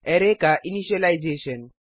array का initialisation